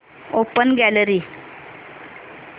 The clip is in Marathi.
open gallery